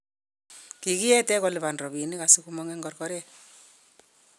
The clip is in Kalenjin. kikiete koliban robinik asikumong'u eng' korkpret